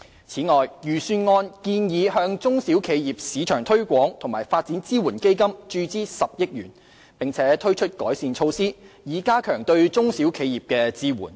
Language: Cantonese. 此外，預算案建議向"中小企業市場推廣和發展支援基金"注資10億元，並推出改善措施，以加強對中小企業的支援。